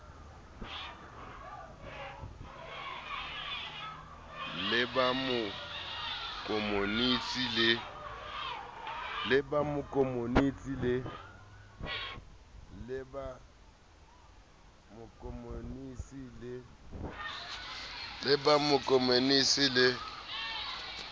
le ba ma komonisi le